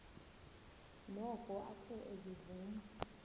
noko athe ezivuma